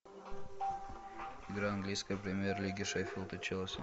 игра английской премьер лиги шеффилд и челси